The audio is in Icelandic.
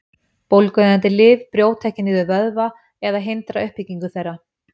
Bólgueyðandi lyf brjóta ekki niður vöðva eða hindra uppbyggingu þeirra.